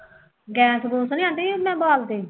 gas ਗੂਸ ਤਾਂ ਨਹੀਂ aunty ਜੀ ਹੁਣੇ ਬਾਲਦੇ